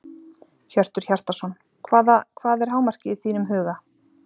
Hjörtur Hjartarson: Hvaða, hvað er hámarkið í þínum huga?